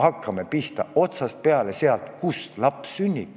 Hakkame pihta, otsast peale – sealt, kus laps sünnib.